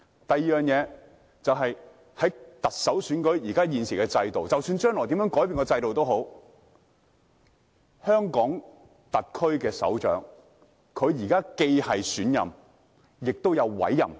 第二點，在現時特首選舉的制度下，即使將來制度有任何改變，但香港特區首長都同時是選任，也是委任的。